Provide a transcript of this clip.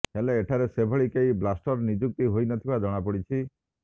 ହେଲେ ଏଠାରେ ସେଭଳି କେହି ବ୍ଳାଷ୍ଟର ନିଯୁକ୍ତି ହୋଇନଥିବା ଜଣାପଡିଛି